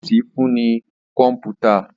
Ọ́fíìsì fún ní kọ̀mpútà